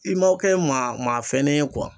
I ma kɛ maa maa fɛn ne ye kuwa